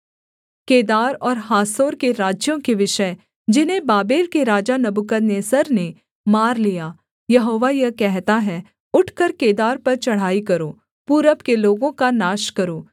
केदार और हासोर के राज्यों के विषय जिन्हें बाबेल के राजा नबूकदनेस्सर ने मार लिया यहोवा यह कहता है उठकर केदार पर चढ़ाई करो पूरब के लोगों का नाश करो